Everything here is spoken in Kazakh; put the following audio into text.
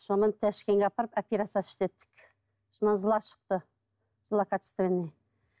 сонымен ташкентке апарып операция істеттік шықты злокачественный